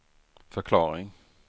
förklaring